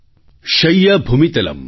शय्या भूमितलं दिशोऽपि वसनं ज्ञानमृतं भोजनं